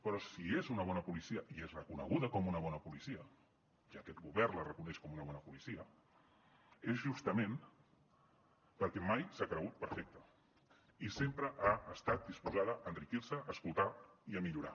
però si és una bona policia i és reconeguda com una bona policia i aquest govern la reconeix com una bona policia és justament perquè mai s’ha cregut perfecte i sempre ha estat disposada a enriquir se a escoltar i a millorar